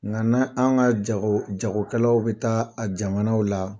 Nka na an ka jago jagokɛlaw bɛ taa a jamanaw la